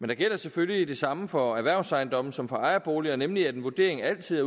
der gælder selvfølgelig det samme for erhvervsejendomme som for ejerboliger nemlig at en vurdering altid